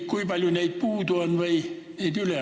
Kui palju on neid puudu või üle?